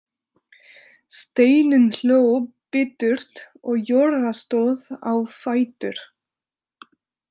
Steinunn hló biturt og Jóra stóð á fætur.